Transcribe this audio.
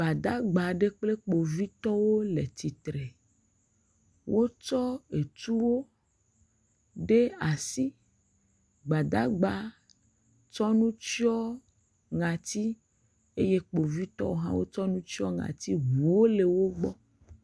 Gbadagba aɖe kple Kpovitɔwo le tsitre. Wotsɔ etuwo ɖe asi. Gbadagba tsɔ nu tsyɔ ŋati eye Kpovitɔwo hã wotsɔ nu tsyɔ ŋati. Eŋuwo le wogbɔ.